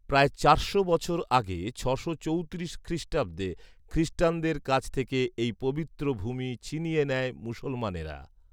প্রায় চারশো বছর আগে ছশো চৌত্রিশ খ্রিস্টাব্দে খ্রিস্টানদের কাছ থেকে এই পবিত্র ভূমি ছিনিয়ে নেয় মুসলমানেরা